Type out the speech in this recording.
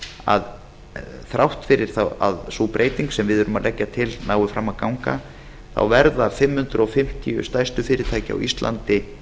að þrátt fyrir það að sú breyting sem við erum að leggja til nái fram að ganga þá verða fimm hundruð fimmtíu fyrirtæki á íslandi